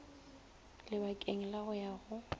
labakeng la go ya go